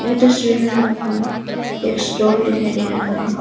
इस तस्वीर में हमको एक स्टॉल दिखाई दे रहा है।